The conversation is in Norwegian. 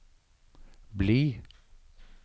bli